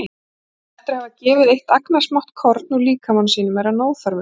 En eftir að hafa gefið eitt agnarsmátt korn úr líkama sínum er hann óþarfur.